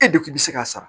E de kun bi se k'a sara